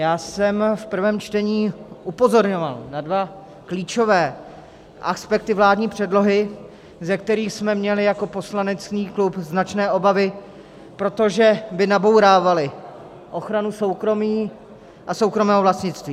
Já jsem v prvém čtení upozorňoval na dva klíčové aspekty vládní předlohy, ze kterých jsme měli jako poslanecký klub značné obavy, protože by nabourávaly ochranu soukromí a soukromého vlastnictví.